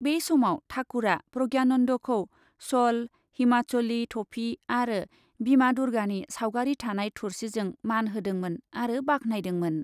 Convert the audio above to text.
बे समाव ठाकुरआ प्रज्ञानन्दखौ श'ल, हिमाचली थफि आरो बिमा दुर्गानि सावगारि थानाय थुर्सिजों मान होदोंमोन आरो बाख्नायदोंमोन।